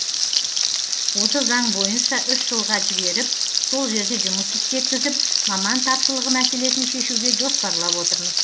осы заң бойынша үш жылға жіберіп сол жерде жұмыс істеткізіп маман тапшылығы мәселесін шешуге жоспарлап отырмыз